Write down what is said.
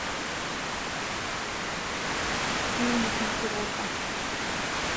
фильмы с микки рурком